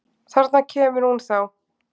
Þarna kemur hún þá!